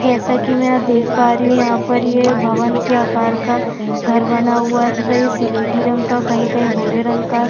जैसा की मै यहाँ देख पा रही हूं यहाँ पर ये भवन के अकार का घर बना हुआ है तथा ये स्लेटी रंग का कहीं-कहीं भूरे रंग का --